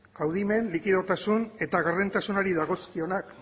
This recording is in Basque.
kaudimen likidotasun eta gardentasunari dagozkionak